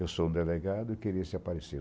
Eu sou um delegado e queria se aparecer.